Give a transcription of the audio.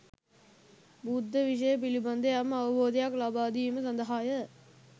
බුද්ධ විෂය පිළිබඳ යම් අවබෝධයක් ලබාදීම සඳහාය